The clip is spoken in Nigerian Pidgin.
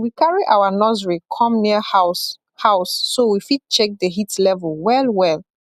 we carry our nursery come near house house so we fit check the heat level well well